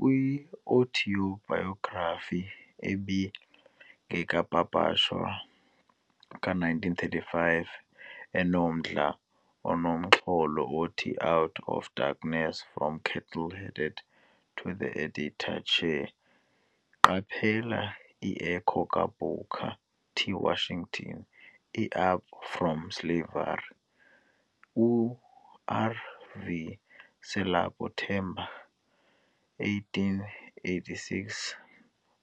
Kwi-autobiography engekapapashwa ka-1935 enomdla onomxholo othi Out of Darkness, From Cattle-Herding to the Editor's Chair, qaphela i-echo ka-Booker T. Washington iUp From Slavery, u-RV Selope Thema, 1886